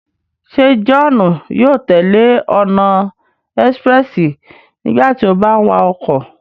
Se Johnu yóò tẹle ọna expréssi nígbàtí o bà ń wa ọkọ?